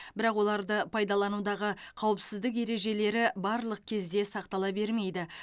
бірақ оларды пайдаланудағы қауіпсіздік ережелері барлық кезде сақтала бермейді